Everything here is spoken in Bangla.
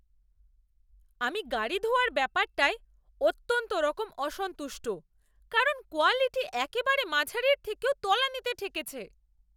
আমি গাড়ি ধোয়ার ব্যাপারটায় অত্যন্তরকম অসন্তুষ্ট কারণ কোয়ালিটি একেবারে মাঝারির থেকেও তলানিতে ঠেকেছে।